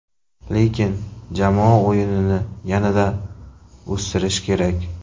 Lekin jamoa o‘yinini yanada o‘stirish kerak.